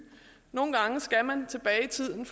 nogle gange skal man tilbage i tiden